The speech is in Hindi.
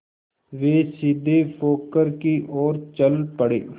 वे सीधे पोखर की ओर चल पड़े